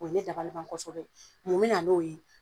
O ye ne dabali ban kosɛbɛ. Mun bena n'o ye?